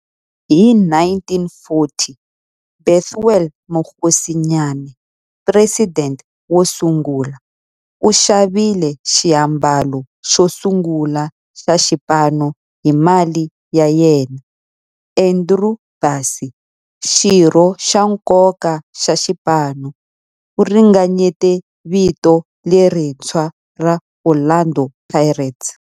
Hi 1940, Bethuel Mokgosinyane, president wosungula, u xavile xiambalo xosungula xa xipano hi mali ya yena. Andrew Bassie, xirho xa nkoka xa xipano, u ringanyete vito lerintshwa ra 'Orlando Pirates'.